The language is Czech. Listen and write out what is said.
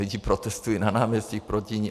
Lidé protestují na náměstích proti ní.